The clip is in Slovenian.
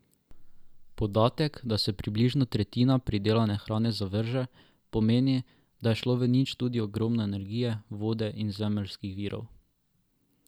Podatek, da se približno tretjina pridelane hrane zavrže, pomeni, da je šlo v nič tudi ogromno energije, vode in zemeljskih virov.